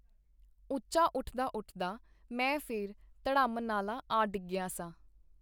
ਉੱਚਾ ਉੱਠਦਾ-ਉੱਠਦਾ ਮੈਂ ਫੇਰ ਧੜੰਮ ਨਾਲਾਂ ਆ ਡਿੱਗਿਆ ਸਾਂ.